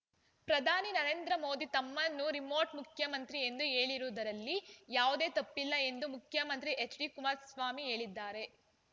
ಪ್ರಧಾನಿ ನರೇಂದ್ರ ಮೋದಿ ತಮ್ಮನ್ನು ರಿಮೋಟ್ ಮುಖ್ಯಮಂತ್ರಿ ಎಂದು ಹೇಳಿರುವುದರಲ್ಲಿ ಯಾವುದೇ ತಪ್ಪಿಲ್ಲ ಎಂದು ಮುಖ್ಯಮಂತ್ರಿ ಹೆಚ್ಡಿ ಕುಮಾರಸ್ವಾಮಿ ಹೇಳಿದ್ದಾರೆ